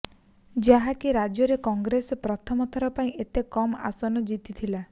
ଯାହାକି ରାଜ୍ୟରେ କଂଗ୍ରେସ ପ୍ରଥମ ଥର ପାଇଁ ଏତେ କମ୍ ଆସନ ଜିତିଥିଲା